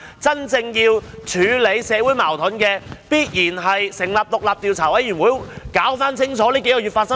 真正可以處理社會矛盾的，必然是成立獨立調查委員會，釐清過去數月發生的事。